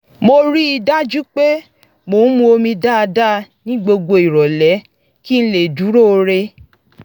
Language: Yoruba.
mo rí i dájú pé mo ń mu omi dáadáa ní gbogbo ìrọ̀lẹ́ kí n lè dúróo re